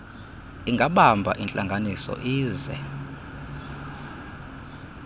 ingabamba intlanganiso ize